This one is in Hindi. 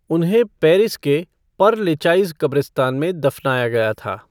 उन्हें पेरिस के पर लेचाइज़ क़ब्रिस्तान में दफ़नाया गया था।